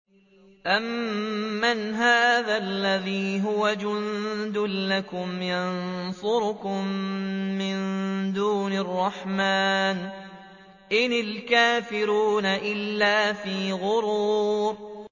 أَمَّنْ هَٰذَا الَّذِي هُوَ جُندٌ لَّكُمْ يَنصُرُكُم مِّن دُونِ الرَّحْمَٰنِ ۚ إِنِ الْكَافِرُونَ إِلَّا فِي غُرُورٍ